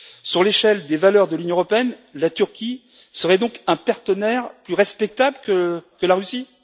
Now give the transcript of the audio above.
Sur l'échelle des valeurs de l'Union européenne, la Turquie serait donc un partenaire plus respectable que la Russie?